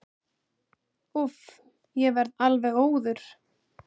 Úff, ég verð alveg óður.